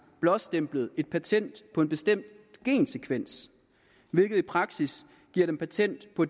blåstemplet et patent på en bestemt gensekvens hvilket i praksis giver dem patent på